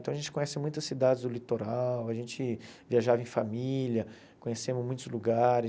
Então, a gente conhece muitas cidades do litoral, a gente viajava em família, conhecemos muitos lugares.